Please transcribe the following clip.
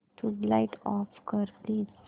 tubelight off कर please